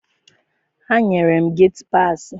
Ha nyere m geti paasị.